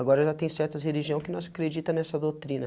Agora, já tem certas religião que não se acredita nessa doutrina.